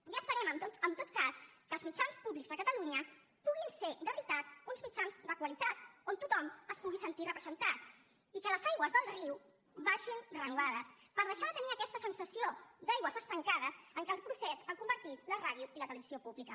i esperem en tot cas que els mitjans públics de catalunya puguin ser de veritat uns mitjans de qualitat on tothom es pugui sentir representat i que les aigües del riu baixin renovades per deixar de tenir aquesta sensació d’aigües estancades en què el procés ha convertit la ràdio i la televisió públiques